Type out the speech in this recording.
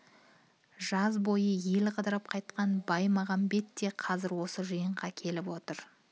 жаз бойы ел қыдырып қайтқан баймағамбет те қазір осы жиынға келіп отыр